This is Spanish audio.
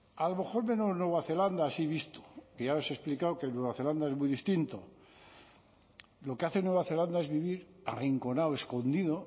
a lo mejor menos nueva zelanda así visto que ya os explicado que en nueva zelanda es muy distinto lo que hace nueva zelanda es vivir arrinconado escondido